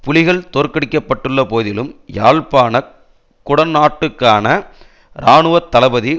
புலிகள் தோற்கடிக்கப்பட்டுள்ள போதிலும் யாழ்ப்பாண குடா நாட்டுக்கான இராணுவ தளபதி